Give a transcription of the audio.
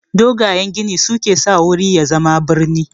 Dogayen gini su ke sa wuri ya zama brini.